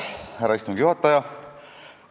Härra istungi juhataja!